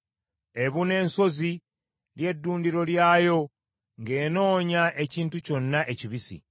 Ebuna ensozi, ly’eddundiro lyayo, ng’enoonya ekintu kyonna ekibisi.